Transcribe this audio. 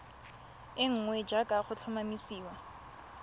e nngwe jaaka go tlhomamisiwa